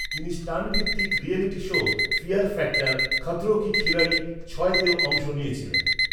তিনি স্টান্ট ভিত্তিক reality show Fear Factor, Khatron Ke Khiladi ছয়তেও অংশ নিয়েছিলেন।